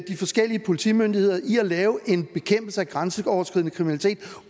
de forskellige politimyndigheder i bekæmpelsen af grænseoverskridende kriminalitet